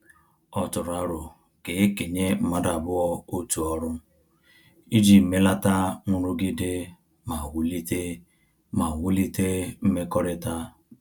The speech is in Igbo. Ọ tụrụ arọ ka ekenye mmadụ abụọ otu ọrụ, iji melata nrụgide ma wulite ma wulite mmekọrịta